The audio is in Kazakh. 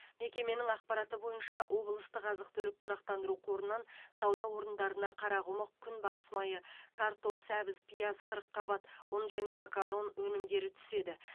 мекеменің ақпараты бойынша облыстық азық түлік тұрақтандыру қорынан сауда орындарына қарақұмық күнбағыс майы картоп сәбіз пияз қырыққабат ұн және макарон өнімдері түседі